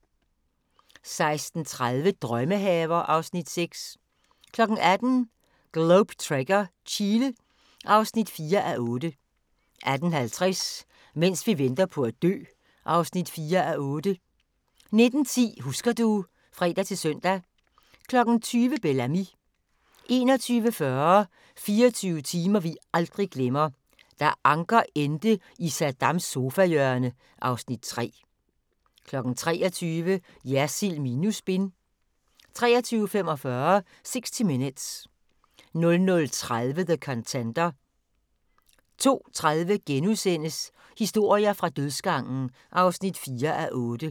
16:30: Drømmehaver (Afs. 6) 18:00: Globe Trekker - Chile (4:8) 18:50: Mens vi venter på at dø (4:8) 19:10: Husker du ... (fre-søn) 20:00: Bel Ami 21:40: 24 timer vi aldrig glemmer: Da Anker endte i Saddams sofahjørne (Afs. 3) 23:00: Jersild minus spin 23:45: 60 Minutes 00:30: The Contender 02:30: Historier fra dødsgangen (4:8)*